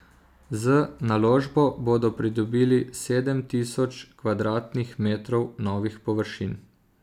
Z naložbo bodo pridobili sedem tisoč kvadratnih metrov novih površin.